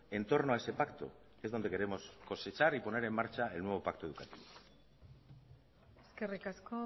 en torno a ese pacto es donde queremos cosechar y poner en marcha el nuevo pacto educativo eskerrik asko